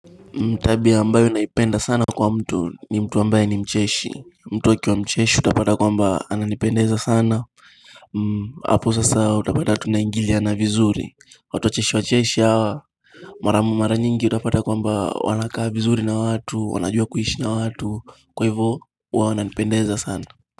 Tabia ambayo ninaipenda sana kwa mtu ni mtu ambayo ni mcheshi mtu wa akiwa mcheshi utapata kwamba ananipendeza sana hapo sasa utapata tunaingiliana vizuri watu wacheshi wacheshi hawa mara nyingi utapata kwamba wanakaa vizuri na watu wanajua kuishi na watu kwa hivyo wao wananipendeza sana.